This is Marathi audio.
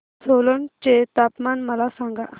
सोलन चे तापमान मला सांगा